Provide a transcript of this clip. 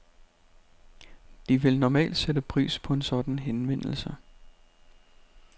De vil normalt sætte pris på en sådan henvendelse.